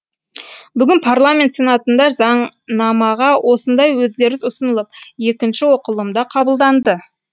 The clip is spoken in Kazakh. бүгін парламент сенатында заңнамаға осындай өзгеріс ұсынылып екінші оқылымда қабылданды